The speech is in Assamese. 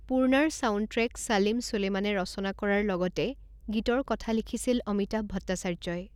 পূৰ্ণাৰ ছাউণ্ডট্ৰেক ছালিম ছুলেমানে ৰচনা কৰাৰ লগতে গীতৰ কথা লিখিছিল অমিতাভ ভট্টাচাৰ্যই।